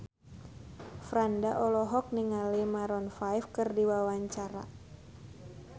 Franda olohok ningali Maroon 5 keur diwawancara